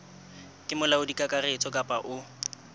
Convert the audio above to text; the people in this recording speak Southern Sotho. ke molaodi kakaretso kapa o